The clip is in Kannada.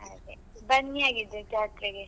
ಹಾಗೆ ಬನ್ನಿ ಹಾಗಿದ್ರೆ ಜಾತ್ರೆಗೆ.